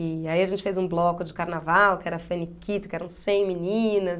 E aí a gente fez um bloco de carnaval, que era Faniquito, que eram cem meninas.